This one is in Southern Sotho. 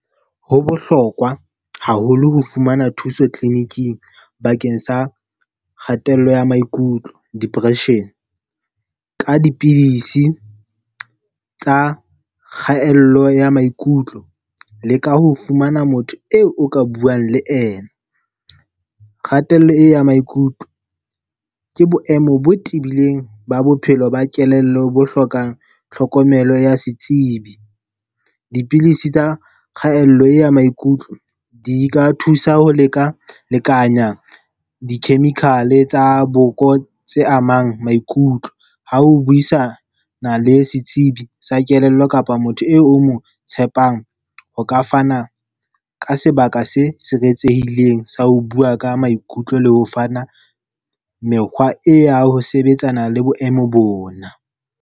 Ho bohlokwa haholo ho fumana thuso tleliniking bakeng sa kgatello ya maikutlo, depression. Ka dipidisi tsa kgatello ya maikutlo le ka ho fumana motho eo o ka buang le ena. Kgatello e ya maikutlo, ke boemo bo tibileng ba bophelo ba kelello bo hlokang tlhokomelo ya setsebi. Dipilisi tsa kgaello e ya maikutlo, di ka thusa ho leka-lekanya di-chemical-e tsa boko tse amang maikutlo. Ha ho buisana le setsibi sa kelello kapa motho eo o mong tshepang ho ka fana ka sebaka se siretsehileng sa ho bua ka maikutlo le ho fana mekgwa e, ya ho sebetsana le boemo bona.